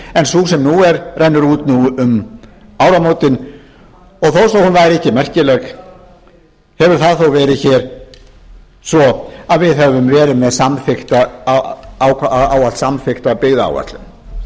en sú sem nú er rennur út núna um áramótin og þó svo hún væri ekki merkileg hefur það þó verið hér svo að við höfum verið með samþykkta byggðaáætlun